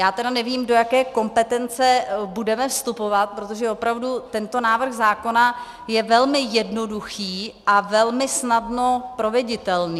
Já tedy nevím, do jaké kompetence budeme vstupovat, protože opravdu tento návrh zákona je velmi jednoduchý a velmi snadno proveditelný.